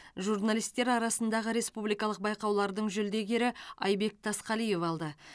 журналистер арасындағы республикалық байқаулардың жүлдегері айбек тасқалиев алды